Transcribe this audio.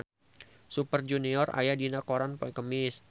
Super Junior aya dina koran poe Kemis